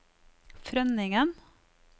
Frønningen